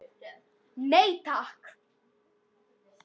Nei, takk.